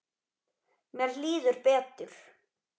Mér líður betur.